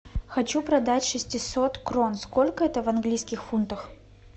хочу продать шестисот крон сколько это в английских фунтах